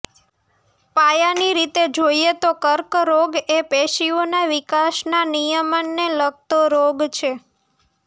પાયાની રીતે જોઇએ તો કર્કરોગ એ પેશીઓના વિકાસના નિયમનને લગતો રોગ છે